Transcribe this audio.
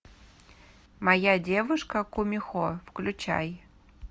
моя девушка кумихо включай